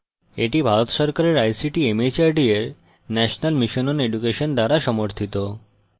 এটি ভারত সরকারের ict mhrd এর national mission on education দ্বারা সমর্থিত